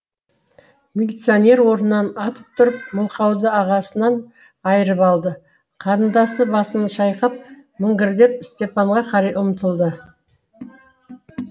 милиционер орнынан атып тұрып мылқауды ағасынан айырып алды қарындасы басын шайқап міңгірлеп степанға қарай ұмтылады